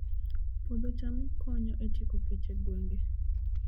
Puodho cham konyo e tieko kech e gwenge